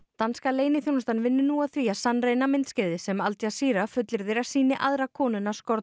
danska leyniþjónustan vinnur nú að því að sannreyna myndskeiðið sem Al fullyrðir að sýni aðra konuna